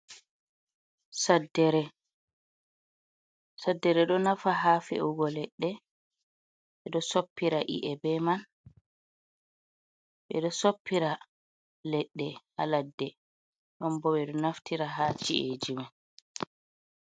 Saddere do nafa ha fe’ugo ledde, be do soppira ieb man be do soppira ledde ha ladde ,don bo be do naftira ha ci’eji man.